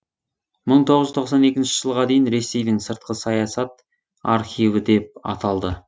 мың тоғыз жүз тоқсан екінші жылға дейін ресейдің сыртқы саясат архиві деп аталды